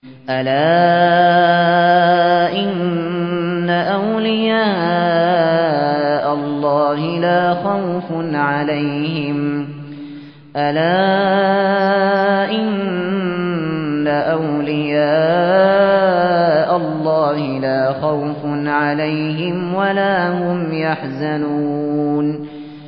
أَلَا إِنَّ أَوْلِيَاءَ اللَّهِ لَا خَوْفٌ عَلَيْهِمْ وَلَا هُمْ يَحْزَنُونَ